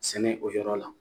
Sɛnɛ o yɔrɔ la